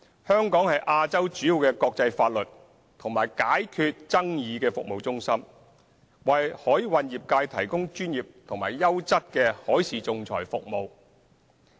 香港是亞洲主要的國際法律及解決爭議服務中心，為海運業界提供專業及優質的海事仲裁服務。